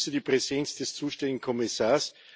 Ich begrüße die Präsenz des zuständigen Kommissars.